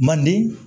Manden